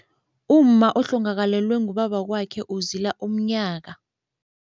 Umma ohlangakalelwe ngubabakwakhe uzila umnyaka.